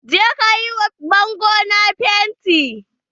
Je ka yi wa bangon nan fenti.